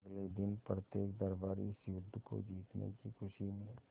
अगले दिन प्रत्येक दरबारी इस युद्ध को जीतने की खुशी में